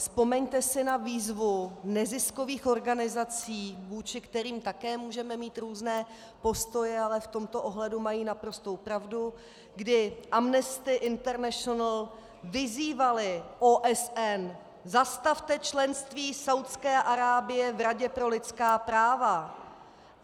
Vzpomeňte si na výzvu neziskových organizací, vůči kterým také můžeme mít různé postoje, ale v tomto ohledu mají naprostou pravdu, kdy Amnesty International vyzývaly OSN: Zastavte členství Saúdské Arábie v Radě pro lidská práva.